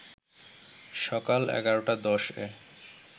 সকাল ১১.১০ এ